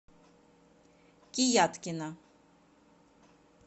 кияткина